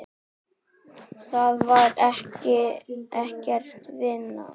Það var ekkert, vinan.